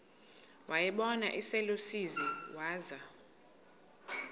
wayibona iselusizini waza